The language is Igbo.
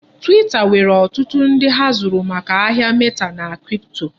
Twita nwere ọtụtụ ndi ha zụrụ maka ahịa meta na kripto.